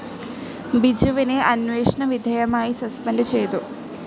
ബിജുവിനെ അന്വേഷണ വിധേയമായി സസ്പെൻഡ്‌ ചെയ്തു.